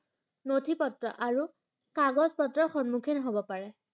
নথিপত্ৰ আৰু কাগজ পত্ৰৰ সন্মুখীন হব পাৰে ।